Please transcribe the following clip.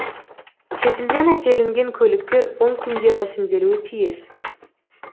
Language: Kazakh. шетелден әкелінген көліктер он күнде рәсімделуі тиіс